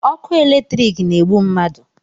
ọkụ eletriki na-egbu mmadụ